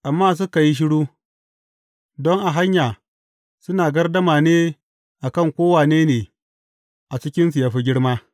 Amma suka yi shiru, don a hanya suna gardama ne, a kan ko wane ne a cikinsu ya fi girma?